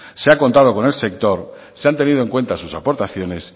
se ha contado con el sector se han tenido en cuenta sus aportaciones